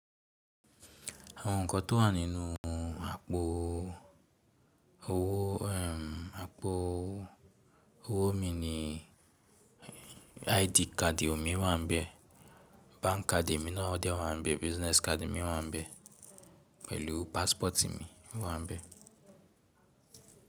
Àwọn nǹkan tó wà nínú àpò owó, àpò owó mi ni ID card mi wà ńbẹ̀, bank card mi náà dẹ wà ńbẹ̀, business card mi wà ńbẹ̀ pẹ̀lú passport mi wà ńbẹ̀.